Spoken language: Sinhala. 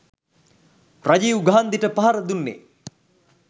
රජීව් ගාන්ධිට පහර දුන්නෙ